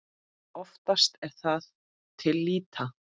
Oftast er það til lýta.